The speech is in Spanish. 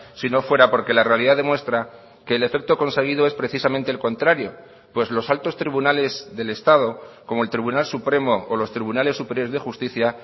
si no fuera porque la realidad demuestra que el efecto conseguido es precisamente el contrario pues los altos tribunales del estado como el tribunal supremo o los tribunales superiores de justicia